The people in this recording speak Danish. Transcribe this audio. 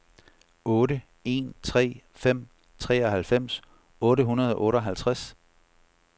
otte en tre fem treoghalvfems otte hundrede og otteoghalvtreds